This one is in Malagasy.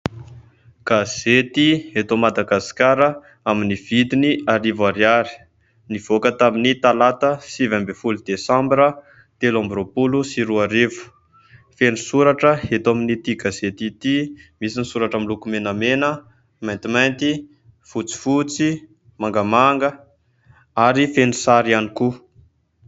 gazety eto Madagasikara amin'ny vidiny arivo ariary, nivoaka tamin'ny talata sivy amby ny folo desambra telo amby roapolo sy roa arivo , feno soratra eto amin'ity gazety ity .Misy ny soratra miloko menamena, maintimainty, fotsifotsy, mangamanga ary feno sary ihany koa